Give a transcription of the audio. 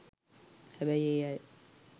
හැබැයි ඒ අය